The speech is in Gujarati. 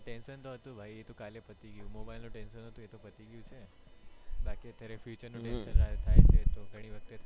tension તો હતું ભાઈ એ તો કાલે પતી ગયું mobile નું tension હતું પતી ગયું છે બાકી અત્યારે future નું tension થાય છે એ તો ગણી વખતે થાય